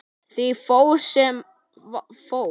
Því fór sem fór.